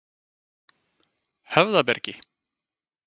Höfðabergi